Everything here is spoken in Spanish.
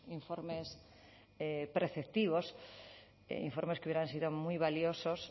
informes preceptivos informes que hubieran sido muy valiosos